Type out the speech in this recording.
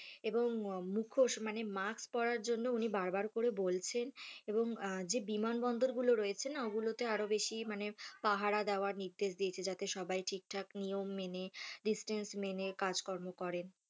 এবং মুখোশ মানে mask পরার জন্য উনি বারবার করে বলছেন এবং যে বিমান বন্দরগুলো রয়েছে না ওগুলোতে আরও বেশি মানে পাহারা দেওয়ার নির্দেশ দিয়েছেন যাতে সবাই ঠিকঠাক নিয়ম মেনে distance মেনে কাজকর্ম করে।